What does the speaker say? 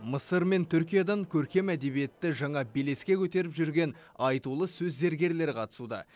мысыр мен түркиядан көркем әдебиетті жаңа белеске көтеріп жүрген айтулы сөз зергерлері қатысуда